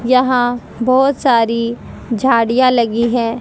यहाँ बहोत सारी झाड़ियां लगी हैं।